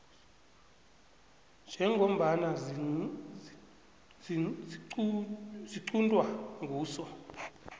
njengombana ziquntwa nguso